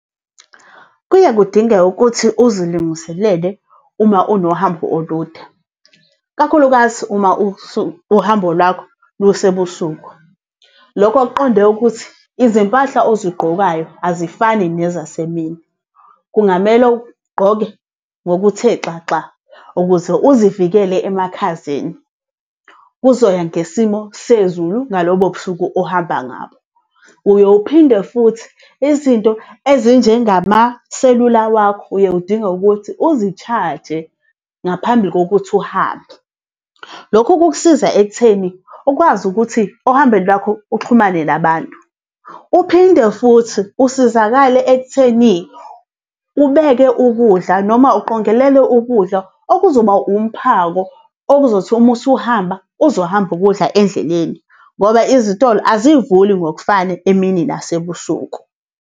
Kuye kudingeke ukuthi uzilungiselele, uma unohambo olude. Kakhulukazi uma uhambo lwakho lusebusuku. Lokho kuqonde ukuthi izimpahla ozigqokayo azifani nezasemini. Kungamele ugqoke ngokuthe xaxa, ukuze uzivikele emakhazeni, kuzoya ngesimo sezulu ngalobo busuku ohamba ngabo. Uye uphinde futhi izinto ezinjengamaselula wakho, uye udinge ukuthi uzishaje ngaphambi kokuthi uhambe. Lokhu kukusiza ekutheni ukwazi ukuthi ohambeni lwakho uxhumane nabantu. Uphinde futhi usizakale ekutheni ubeke ukudla noma uqongelele ukudla okuzoba umphako okuzothi uma usuhamba, uzohamba ukudla endleleni, ngoba izitolo azivuli ngokufana emini nasebusuku.